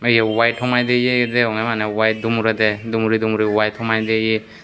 iye weight homai de ye degongei manei weight dumredeh dumuri dumuri weight homai de yeh.